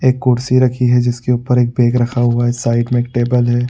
एक कुर्सी रखी है। जिसके ऊपर एक बैग रखा है। साइड में एक टेबिल है।